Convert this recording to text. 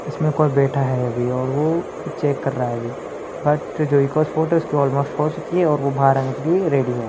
इसमें कोई बैठा है अभी और वो कुछ चेक कर रहा है अभी बट जो इको-स्पोर्ट है उसकी अल्मोस्ट हो चुकी है और वो बाहर आने के लिए रेडी है।